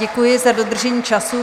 Děkuji za dodržení času.